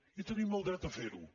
i tenim el dret a fer ho